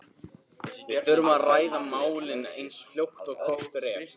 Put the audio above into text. Við þurfum að ræða málin eins fljótt og kostur er.